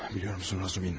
Biliyorsun, Razumin.